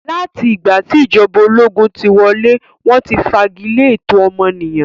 Láti ìgbà tí ìjọba ológun tí wọlé, wọ́n ti fagilé ẹ̀tọ́ ọmọnìyàn.